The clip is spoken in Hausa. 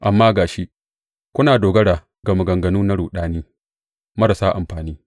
Amma ga shi, kuna dogara ga maganganu na ruɗami marasa amfani.